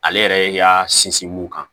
Ale yɛrɛ y'a sinsin mun kan